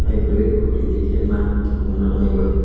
bwri kuri de ke ma amo nugmaio ang.